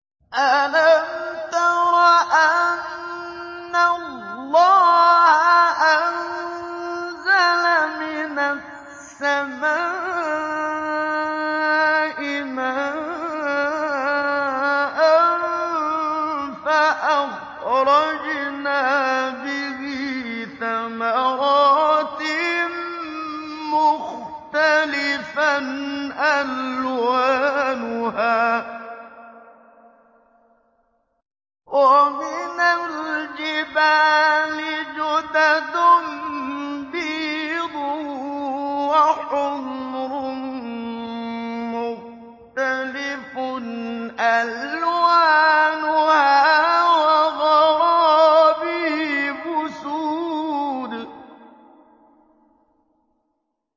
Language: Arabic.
أَلَمْ تَرَ أَنَّ اللَّهَ أَنزَلَ مِنَ السَّمَاءِ مَاءً فَأَخْرَجْنَا بِهِ ثَمَرَاتٍ مُّخْتَلِفًا أَلْوَانُهَا ۚ وَمِنَ الْجِبَالِ جُدَدٌ بِيضٌ وَحُمْرٌ مُّخْتَلِفٌ أَلْوَانُهَا وَغَرَابِيبُ سُودٌ